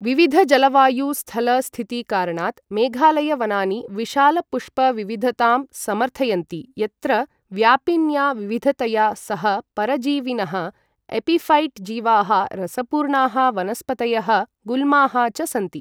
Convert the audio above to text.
विविधजलवायु स्थल स्थिति कारणात् मेघालय वनानि विशाल पुष्प विविधतां समर्थयन्ति, यत्र व्यापिन्या विविधतया सह परजीविनः, एपिफ़ैट् जीवाः, रसपूर्णाः वनस्पतयः, गुल्माः च सन्ति।